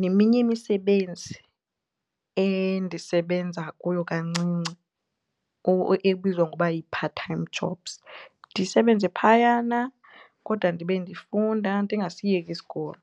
neminye imisebenzi endisebenza kuyo kancinci ebizwa ngokuba yi-part time jobs ndisebenze phayana kodwa ndibe ndifunda ndingasiyeki isikolo.